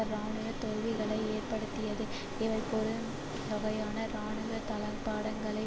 இராணுவ தோல்விகளை ஏற்படுத்தியது இவை பெருந்தொகையான இராணுவ தளபாடங்களை